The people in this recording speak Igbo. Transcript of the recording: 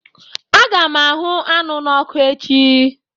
Aga m ahụ anụ n'oku echi